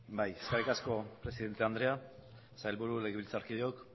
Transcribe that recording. bai eskerrik asko presidente anderea sailburu legebiltzarkideok